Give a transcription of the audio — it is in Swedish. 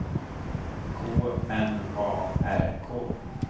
K N A R K